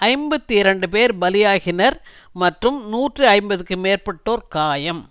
ஐம்பத்தி இரண்டுபேர் பலியாகினர் மற்றும் நூற்றி ஐம்பதுக்கு மேற்பட்டோர் காயம்